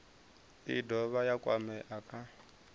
i dovha ya kwamea kha